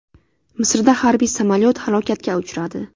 Misrda harbiy samolyot halokatga uchradi.